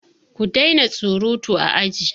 Ku daina surutu a aji!